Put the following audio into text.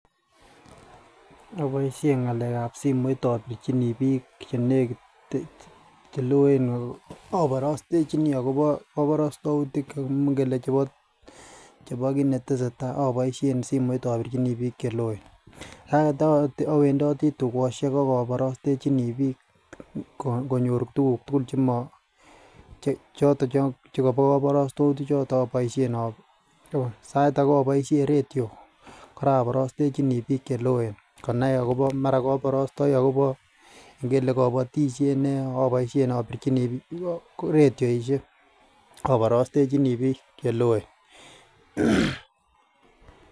Oboishen ngalek ab simoit obirchinii bik chenekiten cheloe ako oborostechinii akobo kobostoutik chekokimoi inkele chebo chebo kinetesetai oboishen simoit obirchinii bik cheloen, sait age owendotii tukoshek ak oborostechinii bik ko konyor tukuk tukul chemo che choton chebo kobostoutik choton oboishen obo sait age iboishen radio Koraa oborostechinii bik cheloen konai akobo mara koborostoi akobo ngele koboishet nee oboishen obirchinii ak radioishek oborostechinii bik cheloen.